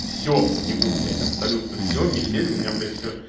все в снегу блять абсолютно все метель меня блять все